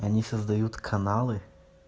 они создают каналы